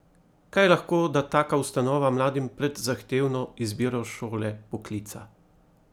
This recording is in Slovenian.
Kaj lahko da taka ustanova mladim pred zahtevno izbiro šole, poklica?